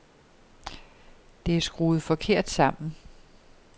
Det er skruet forkert sammen.